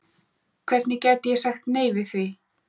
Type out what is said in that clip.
Hvernig gæti ég sagt nei við því?